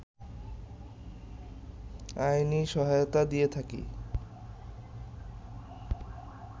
আইনি সহায়তা দিয়ে থাকে